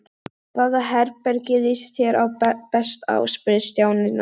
Hvaða herbergi líst þér best á? spurði Stjáni næst.